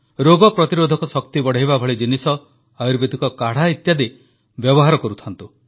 ରୋଗ ପ୍ରତିରୋଧକ ଶକ୍ତି ବଢ଼ାଇବା ଭଳି ଜିନିଷ ଆୟୁର୍ବେଦିକ କାଢ଼ା ଇତ୍ୟାଦି ବ୍ୟବହାର କରୁଥାନ୍ତୁ